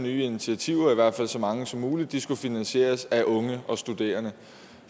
nye initiativer i hvert fald så mange som muligt skulle finansieres af unge og studerende